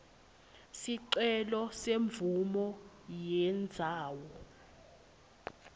sicelo semvumo yendzawo